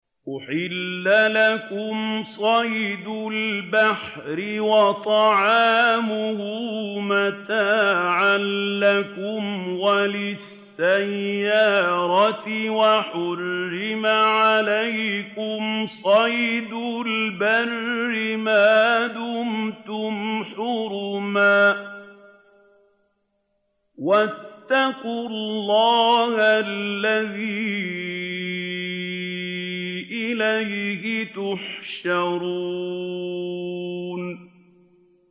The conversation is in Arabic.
أُحِلَّ لَكُمْ صَيْدُ الْبَحْرِ وَطَعَامُهُ مَتَاعًا لَّكُمْ وَلِلسَّيَّارَةِ ۖ وَحُرِّمَ عَلَيْكُمْ صَيْدُ الْبَرِّ مَا دُمْتُمْ حُرُمًا ۗ وَاتَّقُوا اللَّهَ الَّذِي إِلَيْهِ تُحْشَرُونَ